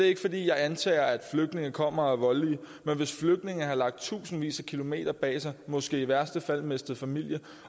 ikke fordi jeg antager at flygtninge kommer og er voldelige men hvis flygtninge har lagt tusindvis af kilometer bag sig måske i værste fald mistet familie